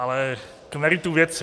Ale k meritu věci.